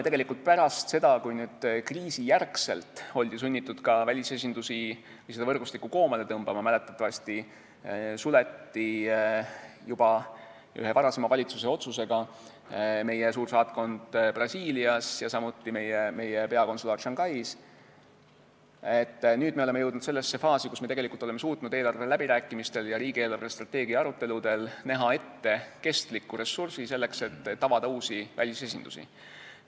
Kui pärast kriisi oldi sunnitud seda võrgustikku koomale tõmbama – mäletatavasti suleti juba ühe varasema valitsuse otsusega meie suursaatkond Brasiilias ja samuti meie peakonsulaat Shanghais –, siis nüüd me oleme jõudnud sellesse faasi, kus me oleme suutnud eelarveläbirääkimistel ja riigi eelarvestrateegia aruteludel näha ette kestliku ressursi, selleks et avada uusi välisesindusi.